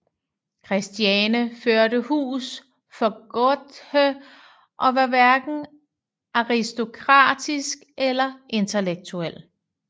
Christiane førte hus for Goethe og var hverken aristokratisk eller intellektuel